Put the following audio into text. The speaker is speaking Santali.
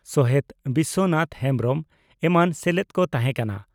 ᱥᱚᱦᱮᱛ ᱵᱤᱥᱚᱱᱟᱛᱷ ᱦᱮᱢᱵᱽᱨᱚᱢ ᱮᱢᱟᱱ ᱥᱮᱞᱮᱫ ᱠᱚ ᱛᱟᱦᱮᱸ ᱠᱟᱱᱟ ᱾